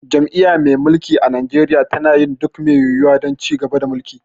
Jam'iyya mai mulki a Najeriya tana yin duk mai yiwuwa don ci gaba da mulki.